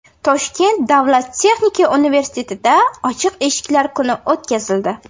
Toshkent davlat texnika universitetida ochiq eshiklar kuni o‘tkazildi.